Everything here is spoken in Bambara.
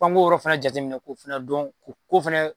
F'an k'o yɔrɔ fana jate minɛ k'o fana dɔn k'o ko fɛnɛ